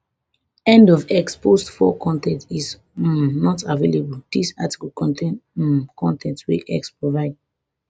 end of x post four con ten t is um not available dis article contain um con ten t wey x provide